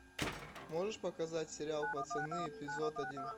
можешь показать сериал пацаны эпизод один